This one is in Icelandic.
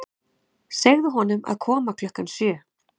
Segðu honum að koma klukkan sjö.